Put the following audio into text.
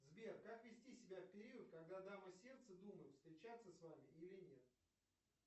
сбер как вести себя в период когда дама сердца думает встречаться с вами или нет